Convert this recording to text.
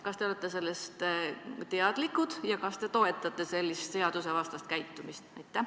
Kas te olete sellest teadlik ja kas te toetate sellist seadusvastast käitumist?